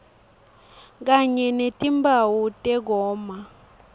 kanye netimphawu tekoma